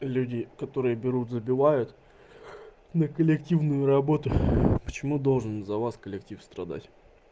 люди которые берут забивают на коллективную работу почему должен за вас коллектив страдать